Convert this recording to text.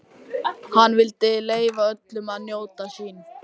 Hann vildi leyfa öllum að njóta sín.